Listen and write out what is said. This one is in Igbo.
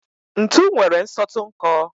ntu nwere nsọtụ nkọ